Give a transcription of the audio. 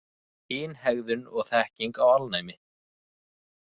Kynhegðun og þekking á alnæmi.